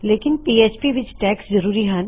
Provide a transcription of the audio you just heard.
ਲੇਕਿਨ ਪੀਐਚਪੀ ਵਿੱਚ ਟੈਗਜ਼ ਜ਼ਰੂਰੀ ਹਨ